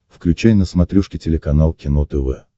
включай на смотрешке телеканал кино тв